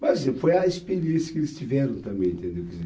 Mas foi a experiência que eles tiveram também, entendeu? Quer dizer,